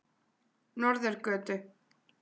Norðurgötu